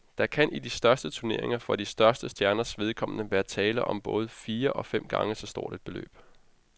Der kan i de største turneringer for de største stjerners vedkommende være tale om både fire og fem gange så stort et beløb.